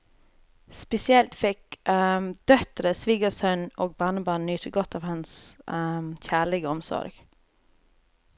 Spesielt fikk døtre, svigersønn og barnebarn nyte godt av hans kjærlige omsorg.